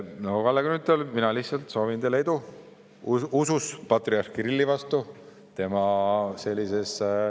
Kalle Grünthal, mina lihtsalt soovin teile edu usus patriarh Kirilli tema sellises …